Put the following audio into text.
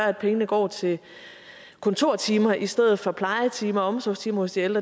at pengene går til kontortimer i stedet for plejetimer og omsorgstimer til